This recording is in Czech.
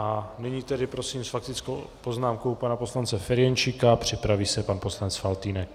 A nyní tedy prosím s faktickou poznámkou pana poslance Ferjenčíka, připraví se pan poslanec Faltýnek.